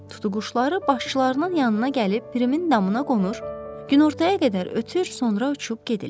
Tutuquşları başqışlarının yanına gəlib Pirimin damına qonur, günortaya qədər ötür, sonra uçub gedirlər.